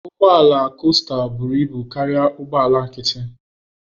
Ụgbọ ala costa buru ibu karịa ụgbọ ala nkịtị.